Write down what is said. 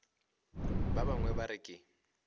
ba bangwe ba re ke